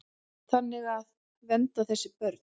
Þannig að. vernda þessi börn.